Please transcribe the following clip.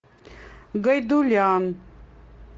гайдулян